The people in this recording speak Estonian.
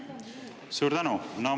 Suur tänu!